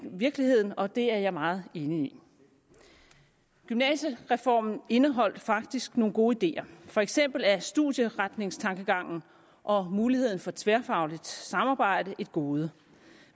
virkeligheden og det er jeg meget enig i gymnasiereformen indeholdt faktisk nogle gode ideer for eksempel er studieretningstankegangen og muligheden for tværfagligt samarbejde et gode